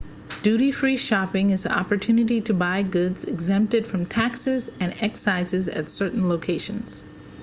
duty free shopping is the opportunity to buy goods exempted from taxes and excises at certain locations